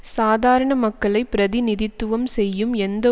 சாதாரண மக்களை பிரதிநிதித்துவம் செய்யும் எந்த